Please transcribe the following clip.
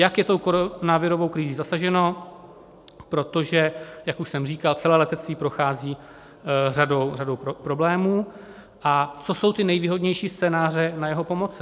Jak je tou koronavirovou krizí zasaženo, protože jak už jsem říkal, celé letectví prochází řadou problémů, a co jsou ty nejvýhodnější scénáře na jeho pomoci.